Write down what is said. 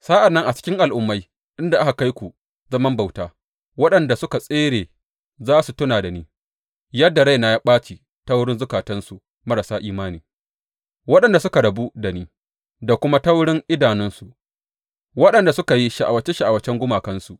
Sa’an nan a cikin al’ummai inda aka kai ku zaman bauta, waɗanda suka a tsere za su tuna da ni, yadda raina ya ɓaci ta wurin zukatansu marasa imani, waɗanda suka rabu da ni, da kuma ta wurin idanunsu, waɗanda suka yi sha’awace sha’awacen gumakansu.